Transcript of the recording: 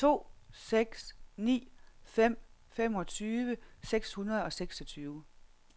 to seks ni fem femogtyve seks hundrede og seksogtyve